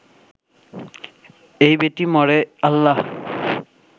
এই বেটি মরে আল্লাহ